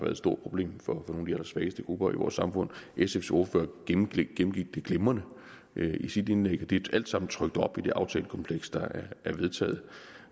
et stort problem for nogle af de allersvageste grupper i vores samfund sfs ordfører gennemgik det glimrende i sit indlæg og det er alt sammen trykt op i det aftalekompleks der er vedtaget